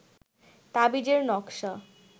তাবিজের নকশা